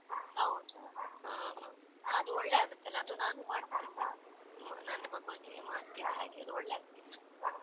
ಹೌದಾ, ಹಾ ಅದು ಒಳ್ಳೇ ಆಗತ್ತಲ್ಲ, ಅದು ನಾನು ಮಾಡ್ತೀನಿ ನನ್ನ್ ಮಗುವಿಗೆ ಮಾಡ್ತಿದ್ದೆ ಹಾಗೆ, ಅದ್ ಒಳ್ಳೆ ಆಗ್ತಿತ್ತು.